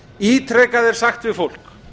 ítrekað er sagt við fólk